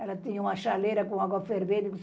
Ela tinha uma chaleira com água fervente.